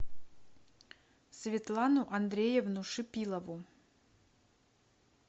светлану андреевну шипилову